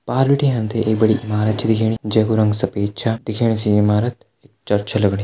पार बिटि हम तैं एक बड़ी ईमारत छ दिखेणी जै कू रंग सफ़ेद छ दिखेणे से इमारत चर्च छ लगणी।